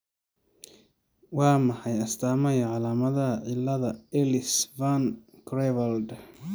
Waa maxay astamaha iyo calaamadaha cilada Ellis Van Creveld?